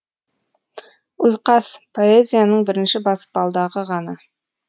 ұйқас поэзияның бірінші баспалдағы ғана